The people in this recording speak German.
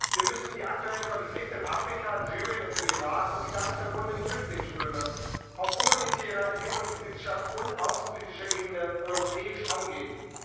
Wir müssen die aktuellen Konflikte in Afrika, in Syrien und im Irak und die damit verbunden Flüchtlingsströme auf humanitärer, entwicklungspolitischer und außenpolitischer Ebene europäisch angehen.